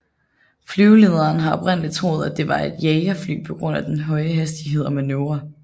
Flyvelederne havde oprindeligt troet at det var et jagerfly på grund af den høje hastighed og manøvrer